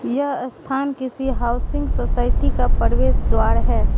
यह स्थान किसी हाउसिंग सोसायटी का प्रवेश द्वार है।